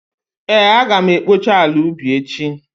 Ee, Aga m ekpocha ala ubi echi